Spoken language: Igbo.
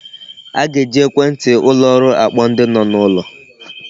A ga-eji ekwenti ụlọ ọrụ akpọ ndi no n'ulo.